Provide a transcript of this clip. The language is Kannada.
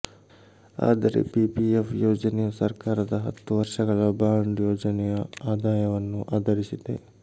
ಆದರೆ ಪಿಪಿಎಫ್ ಯೋಜನೆಯು ಸರಕಾರದ ಹತ್ತು ವರ್ಷಗಳ ಬಾಂಡ್ ಯೋಜನೆಯ ಆದಾಯವನ್ನು ಆಧರಿಸಿದೆ